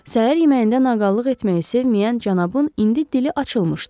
Səhər yeməyində naqallıq etməyi sevməyən cənabın indi dili açılmışdı.